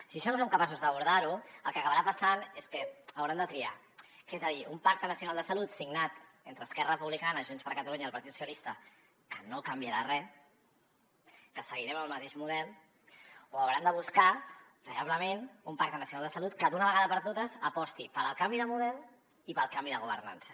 si això no som capaços d’abordar ho el que acabarà passant és que hauran de triar és a dir un pacte nacional de salut signat entre esquerra republicana junts per catalunya i el partit socialistes que no canviarà re que seguirem amb el mateix model o hauran de buscar veritablement un pacte nacional de salut que d’una vegada per totes aposti pel canvi de model i pel canvi de governança